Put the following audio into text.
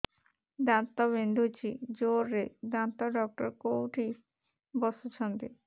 ଦାନ୍ତ ବିନ୍ଧୁଛି ଜୋରରେ ଦାନ୍ତ ଡକ୍ଟର କୋଉଠି ବସୁଛନ୍ତି